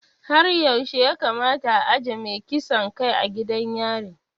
Har yaushe ya kamata a ajiye mai kisan kai a gidan yari?